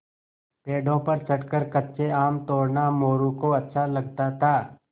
पेड़ों पर चढ़कर कच्चे आम तोड़ना मोरू को अच्छा लगता था